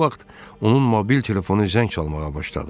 Bu vaxt onun mobil telefonu zəng çalmağa başladı.